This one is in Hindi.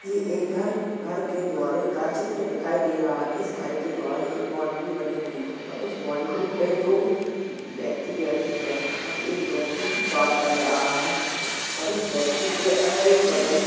ये एक घरघर के द्वारे का चित्र दिखाई दे रहा है इस घर के द्वारे एक बाउंड्री बनी हुई है और उस बाउंड्री पे दो व्यक्ति बैठे हुए हैं और एक व्यक्ति बात कर रहा है और इस व्यक्ति के अगल बगल --